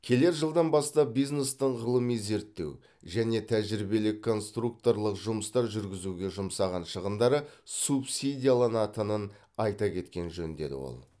келер жылдан бастап бизнестің ғылыми зерттеу және тәжірибелік конструкторлық жұмыстар жүргізуге жұмсаған шығындары субсидияланатынын айта кеткен жөн деді ол